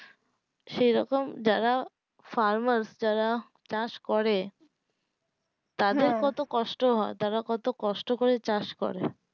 সেই রকম যারা farmers যারা কাজ করে তাদের হ্যাঁ কত কষ্ট হয় কত কষ্ট করে চাষ করে